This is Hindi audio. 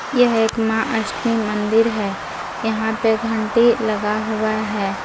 यह एक मां अष्टमी मंदिर है यहां पे घंटी लगा हुआ है।